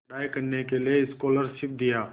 पढ़ाई करने के लिए स्कॉलरशिप दिया